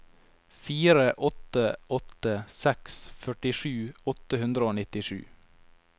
fire åtte åtte seks førtisju åtte hundre og nittisju